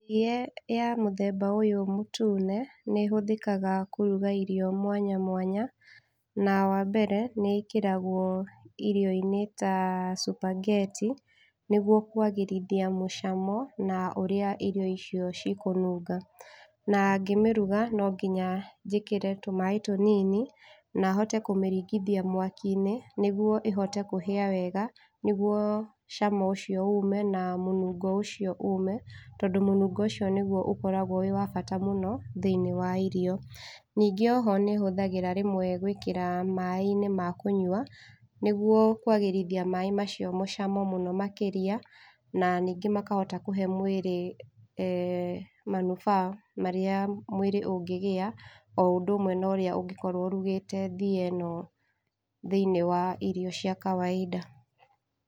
Thie ya mũthemba ũyũ mũtune nĩ ĩhũthĩkaga kũruga irio mwanya mwanya, na wambere nĩ ĩkĩragwo irio-inĩ ta cubangeti nĩguo kwagĩrithia mũcamo na ũrĩa irio icio cikũnunga. Na ngĩmĩruga nonginya njĩkĩre tũmaaĩ tũnini na hote kũmĩringithia mwaki-inĩ nĩguo ĩhote kũhĩa wega, nĩguo cama ũcio ũme na mũnungo ũcio ũme tondũ mũnungo ũcio nĩguo ũkoragwo wĩwa bata mũno thĩiniĩ wa irio. Ningĩ oho nĩhũthagĩra rĩmwe gwĩkĩra maaĩ-inĩ ma kũnyua nĩguo kwagĩrithia maaĩ macio mũcamo mũno makĩria, na ningĩ makahota kũhe mwĩrĩ, manufaa marĩa mwĩrĩ ũngĩgĩa, o ũndũ ũmwe norĩa ũngĩkorwo ũrugĩte thieno thĩiniĩ wa irio cia kawaida.